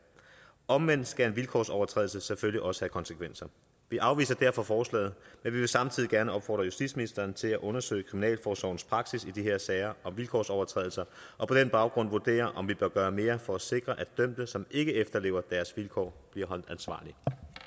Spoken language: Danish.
omvendt skal en vilkårsovertrædelse selvfølgelig også konsekvenser vi afviser derfor forslaget men vi vil samtidig gerne opfordre justitsministeren til at undersøge kriminalforsorgens praksis i de her sager om vilkårsovertrædelser og på den baggrund vurdere om vi bør gøre mere for at sikre at dømte som ikke efterlever deres vilkår bliver holdt ansvarlig